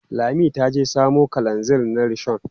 Lami ta je samo kalanzir na rishon.